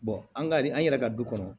an ka nin an yɛrɛ ka du kɔnɔ